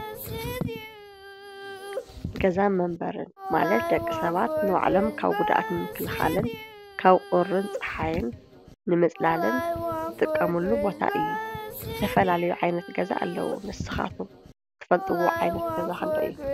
ገዛ መንበርን ማለት ደቂ ሰባት ንባዕሎም ካብ ጕድኣት ንምክልኻልን ካብ ቑርን ፀሓይን ንምፅላልን ዝጥቀሙሉ ቦታ እዩ፡፡ ዝተፈላለዩ ዓይነት ገዛ ኣለዉ፡፡ ንስኻትኩም ትፈልጥዎ ዓይነት ገዛ ኸ እንታይ እዩ?